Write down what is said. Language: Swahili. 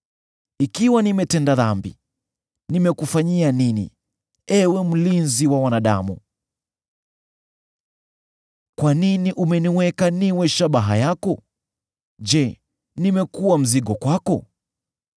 Ikiwa nimetenda dhambi, nimekufanyia nini, Ewe mlinzi wa wanadamu? Kwa nini umeniweka niwe shabaha yako? Je, nimekuwa mzigo kwako?